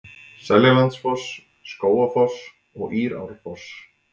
Seljalandsfoss, Skógafoss og Írárfoss.